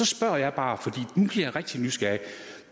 så spørger jeg bare fordi nu jeg rigtig nysgerrig